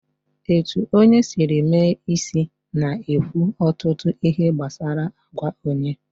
Etu onye Siri mee isi na-ekwu ọtụtụ ihe gbasara àgwà onye